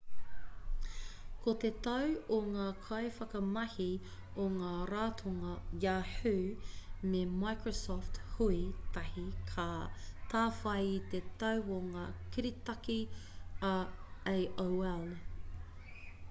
ko te tau o ngā kaiwhakamahi o ngā ratonga yahoo me microsoft hui tahi ka tāwhai i te tau o ngā kiritaki a aol